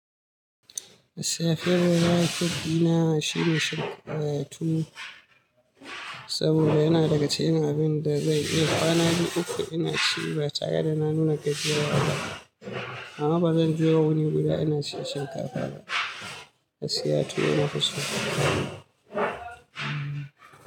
Siyafiyar da za a yi tafiya na shine Shika, eh, tuwo saboda yana daga cikin abin da zai iya kwana biyu uku ina ci ba tare da na nuna gajiyarwa ba. Amma ba zan je wani guda ina ci shinkafa ba. Na siya tuwo na fi so.